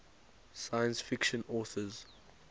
science fiction authors